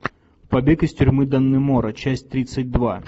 побег из тюрьмы даннемора часть тридцать два